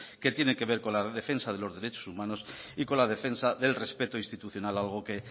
que tienen que ver con la defensa de los derechos humanos y con la defensa del respeto institucional algo que